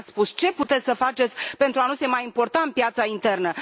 Nu ne ați spus ce puteți să faceți pentru a nu se mai importa în piața internă?